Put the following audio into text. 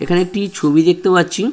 এখানে একটি ছবি দেখতে পাচ্ছি।